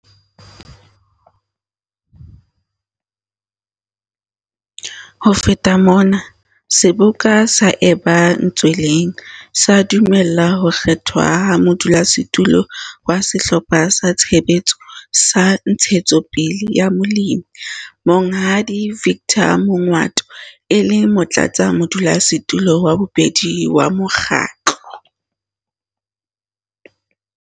Ho feta mona, seboka sa eba ntsweleng, sa dumella ho kgethwa ha Modulasetulo wa sehlopha sa Tshebetso sa Ntshetsopele ya Molemi, Monghadi Victor Mongoato, e le Motlatsa-modulasetulo wa bobedi wa mokgatlo.